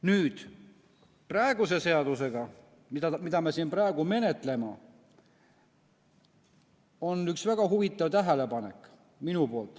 Nüüd, selle seaduseelnõu kohta, mida me siin praegu menetleme, on mul üks väga huvitav tähelepanek.